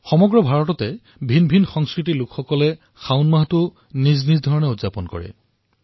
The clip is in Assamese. সমগ্ৰ ভাৰতবৰ্ষত বিভিন্ন সংস্কৃতি আৰু ভাষাৰ লোকে শাওণ মাহটোক নিজৰ ধৰণে উদযাপন কৰে